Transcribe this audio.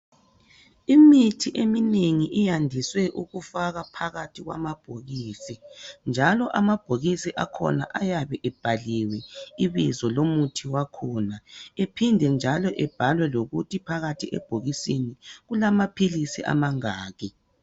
Imithi eminengi iyandiswe ukufakwa phakathi kwamabhokisi, njalo amabhokisi akhona ayabe ebhaliwe ibizo lomuthi wakhona, ephinde njalo ebhalwe lokuthi phakathi ebokisini kulamaphilisi amangaki.